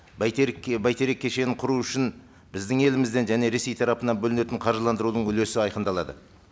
бәйтерек бәйтерек кешенін құру үшін біздің елімізден және ресей тарапынан бөлінетін қаржыландырудың үлесі айқындалады